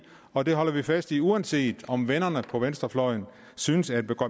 og det holder vi fast i uanset om vennerne på venstrefløjen synes at